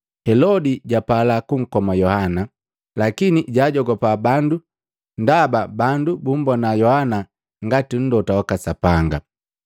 Helodi japala kunkoma Yohana, lakini jaajogopa bandu ndaba bandu bumbona Yohana ngati Mlota waka Sapanga.